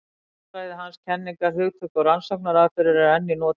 Hugmyndafræði hans, kenningar, hugtök og rannsóknaraðferðir eru enn í notkun.